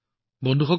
ধন্যবাদ